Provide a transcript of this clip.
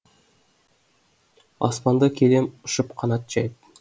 аспанда келем ұшып қанат жайып